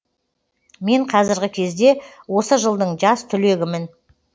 мен қазіргі кезде осы жылдың жас түлегімін